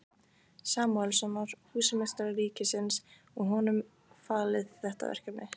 Samúelssonar, húsameistara ríkisins, og honum falið þetta verkefni.